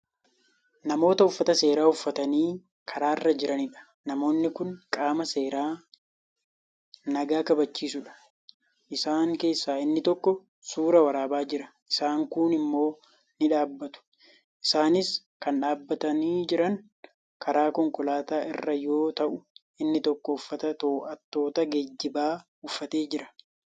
Namoota uffata seeraa uffatanii karaarra jiraniidha. namoonni Kuni qaama seeraa nagaa kabachiisudha. isaan keessaa inni tokko suuraa waraabaa Jira isaan kuun immoo ni dhaabbatu. isaanis Kan dhaabatanii Jiran karaa konkolaataa irra yoo ta'u inni tokko uffata to'attoota geejjibaa uffatee Jira.